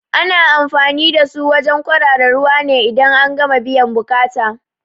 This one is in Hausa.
Ana anfani da su wajen kwarara ruwa ne idan an gama biyan buƙata